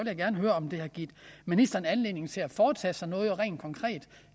givet ministeren anledning til at foretage sig noget rent konkret